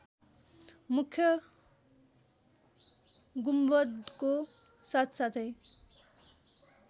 मुख्य गुम्बदको साथसाथै